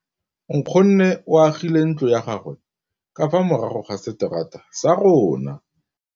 Nkgonne o agile ntlo ya gagwe ka fa morago ga seterata sa rona.